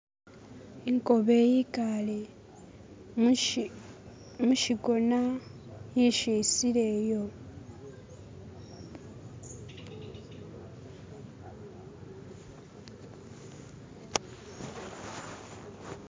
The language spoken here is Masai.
Inkobe yikale mushikona yeshisile iyo